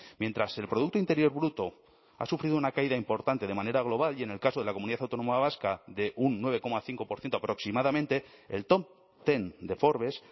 mientras el producto interior bruto ha sufrido una caída importante de manera global y en el caso de la comunidad autónoma vasca de un nueve coma cinco por ciento aproximadamente el top ten de forbes